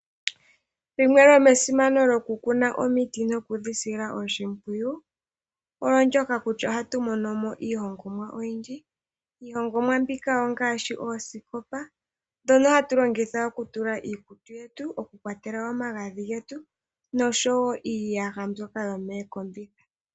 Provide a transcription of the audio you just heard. Limwe lomesimano lokukuna omiti nokudhisila oshimpwiyu, olo ndyoka kutya ohatu monomo iihongomwa oyindji. Iihongomwa mbika ongaashi oosikopa dhono hatu longitha okutula iikutu yetu , oku kwatela omagadhi getu noshowo iiyaha mbyoka yo meekombitha.